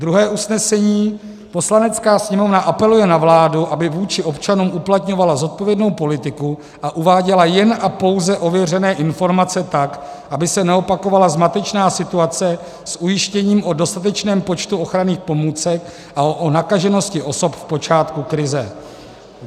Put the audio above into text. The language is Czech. Druhé usnesení: "Poslanecká sněmovna apeluje na vládu, aby vůči občanům uplatňovala zodpovědnou politiku a uváděla jen a pouze ověřené informace tak, aby se neopakovala zmatečná situace s ujištěním o dostatečném počtu ochranných pomůcek a o nakaženosti osob v počátku krize."